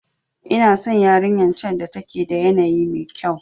Ina san yarinyar can da take da yanayi mekyau.